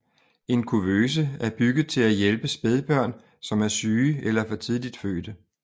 En kuvøse er bygget til at hjælpe spædbørn som er syge eller for tidligt fødte